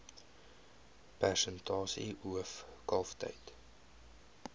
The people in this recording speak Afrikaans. persentasie hoof kalftyd